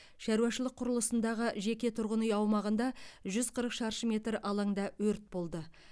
шаруашылық құрылысындағы жеке тұрғын үй аумағында жүз қырық шаршы метр алаңда өрт болды